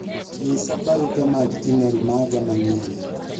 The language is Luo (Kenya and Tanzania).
nyisa barupe mag email maga manyien